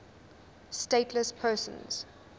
stateless persons